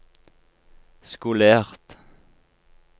skolert